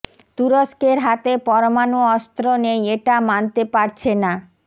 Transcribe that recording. তুরস্কের হাতে পরমাণু অস্ত্র নেই এটা মানতে পারছে না